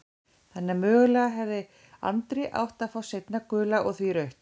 Þannig að mögulega hefði Andri átt að fá seinna gula og því rautt?